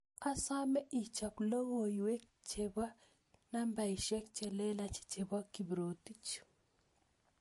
Asame ichop lokooywek chebo nambaisyek chelelach chebo Kiprotich